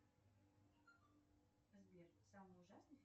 сбер самый ужасный